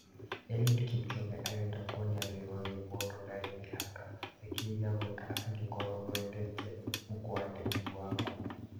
Eliud Kipchoge arenda kwonia thĩ yothe "mũndũ ndarĩ mĩhaka" nĩkĩ gĩa gwĩka angĩkorwo ndwendete 'mũkwandĩki' waku?